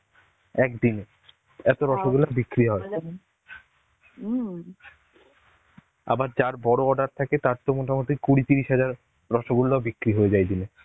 একদিনে এত রসগোল্লা বিক্রি হয়. আবার যার বড় order থাকে তার তো মোটামুটি কুড়ি তিরিশ হাজার রসগোল্লাও বিক্রি হয়ে যায় দিনে.